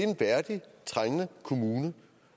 en værdigt trængende kommune